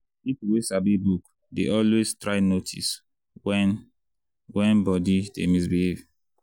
people wey sabi book dey always try notice when when body dey misbehave.